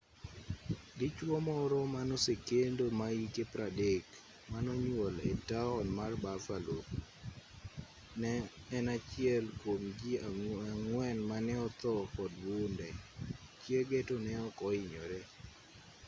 dichuo moro manosekendo mahike 30 manonyuol etaon mar buffalo ne en achiel kuom jii ang'wen mane othoo kod bunde chiege to neok ohinyore